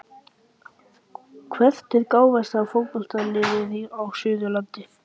Hvert er gáfaðasta fótboltaliðið á Suðurlandi?